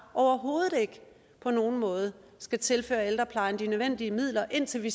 overhovedet ikke på nogen måde skal tilføre ældreplejen de nødvendige midler indtil vi